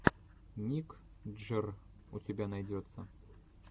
ник джр у тебя найдется